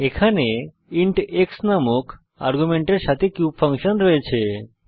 এখানে int x নামক আর্গুমেন্টের সাথে কিউব ফাংশন রয়েছে